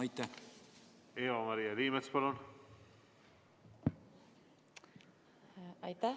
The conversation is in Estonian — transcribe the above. Eva-Maria Liimets, palun!